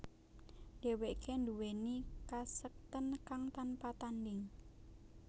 Dheweke nduweni kasekten kang tanpa tandhing